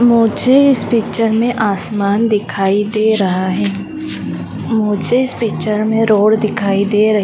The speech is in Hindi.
मुझे इस पिक्चर में आसमान दिखाई दे रहा है। मुझे इस पिक्चर में रोड दिखाई दे रही--